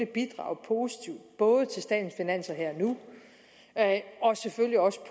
bidrage positivt både til statens finanser her og nu og selvfølgelig også